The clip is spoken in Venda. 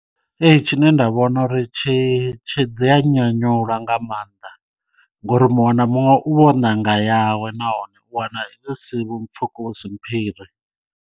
Ee tshine nda vhona uri tshi dzi ya nyanyula nga maanḓa ngo uri muṅwe na muṅwe u vha o nanga yawe nahone u wana yo si vho mpfuku usi mphire.